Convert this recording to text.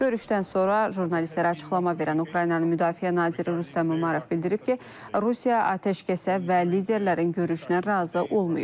Görüşdən sonra jurnalistlərə açıqlama verən Ukraynanın müdafiə naziri Rüstəm Umərov bildirib ki, Rusiya atəşkəsə və liderlərin görüşünə razı olmayıb.